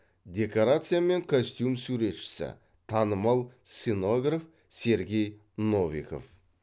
декорация мен костюм суретшісі танымал сценограф сергей новиков